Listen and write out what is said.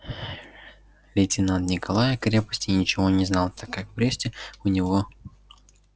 лейтенант николай о крепости ничего не знал так как в бресте у него